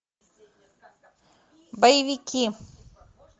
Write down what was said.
боевики